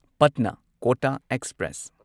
Patna Kota express